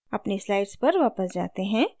अपनी slides पर वापस जाते हैं